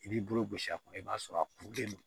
I b'i bolo gosi a kun i b'a sɔrɔ a kurulen don